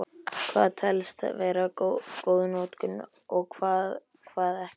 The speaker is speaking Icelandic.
Hvað telst vera góð notkun og hvað ekki?